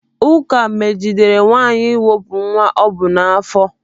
Ụka megidere nwaanyị iwepụ nwa o bu n'afọ.